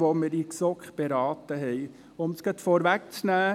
Um es gleich vorwegzunehmen: